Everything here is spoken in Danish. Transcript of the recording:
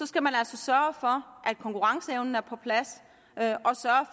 skal man altså sørge for at konkurrenceevnen er på plads